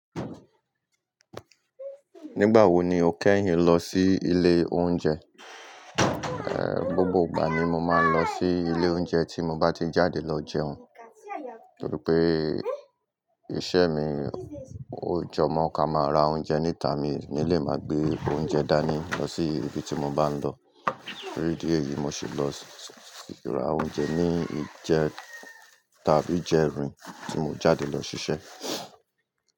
Nígbà wo ni o kẹ́yìn lọ sí ilé oúnjẹ? Gbogbo ìgbà ni mo máa ń lọ sí ilé oúnjẹ tí mo bá ti jáde lọ jẹun, torí pé iṣẹ́ mi, o jọ mọ́ ká máa ra oúnjẹ níta, mi ní lè máa gbé oúnjẹ dání lọ sí ibi tí mo bá ń lọ. Torí ìdí èyìí mo ṣe lọ ra oúnjẹ ni ìjẹta àbí ìjẹrin tí mo jáde lọ ṣiṣẹ́.